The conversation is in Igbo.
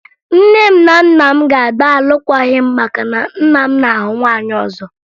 Nne m na nna m ga-agba alụkwaghị m maka na nna m na-ahụ nwaanyị ọzọ